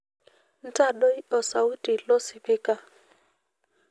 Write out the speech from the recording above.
ntadoi osauti losipika